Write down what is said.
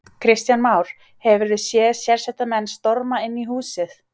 Kristján Már: Hefurðu séð sérsveitarmenn storma inn í húsið?